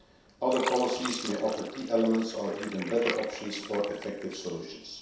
Other policies may offer key elements or even better options for effective solutions.